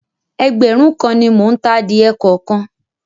Ẹgbẹ̀rún kan ni mò ń ta adìẹ kọ̀ọ̀kan.